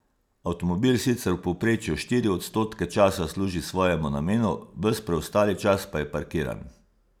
Avtomobil sicer v povprečju štiri odstotke časa služi svojemu namenu, ves preostali čas pa je parkiran.